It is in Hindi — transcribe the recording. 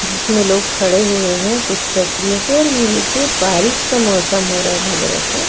जिसमें लोग खड़े हुए हैं कुछ पे और नीचे बारिश का मौसम हो रहा है लग रहा था।